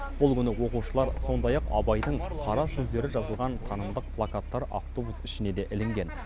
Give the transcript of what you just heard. бұл күні оқушылар сондай ақ абайдың қара сөздері жазылған танымдық плакаттар автобус ішіне де ілінген